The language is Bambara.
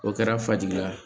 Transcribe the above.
O kɛra fajigila ye